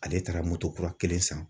Ale taara moto kura kelen san.